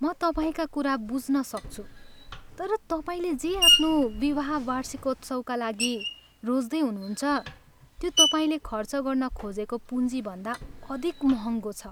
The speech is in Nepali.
म तपाईँका कुरा बुझ्न सक्छु तर तपाईँले जे आफ्नो विवाह वार्षिकोत्सवमा लागि रोज्दै हुनुहुन्छ त्यो तपाईँले खर्च गर्न खोजेको पुँजीभन्दा अधिक महङ्गो छ।